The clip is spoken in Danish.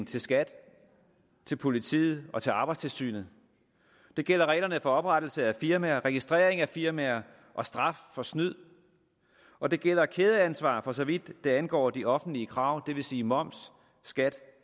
til skat til politiet og til arbejdstilsynet det gælder reglerne for oprettelse af firmaer registrering af firmaer og straf for snyd og det gælder kædeansvar for så vidt angår de offentlige krav det vil sige moms skat